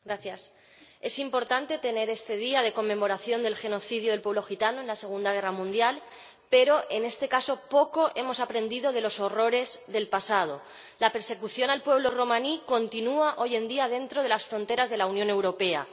Señora Presidenta, es importante tener este día de conmemoración del genocidio del pueblo gitano en la Segunda Guerra Mundial, pero, en este caso, poco hemos aprendido de los horrores del pasado la persecución al pueblo romaní continúa, hoy en día, dentro de las fronteras de la Unión Europea.